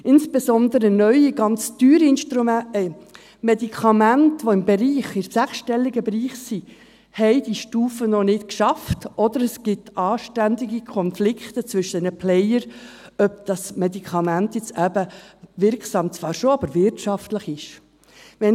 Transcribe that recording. Insbesondere neue, ganz teure Medikamente, welche sich im sechsstelligen Frankenbereich befinden, haben diese Stufe noch nicht geschafft, oder es gibt ständige Konflikte zwischen diesen Playern, ob dieses Medikament – wirksam zwar schon – aber auch wirtschaftlich ist.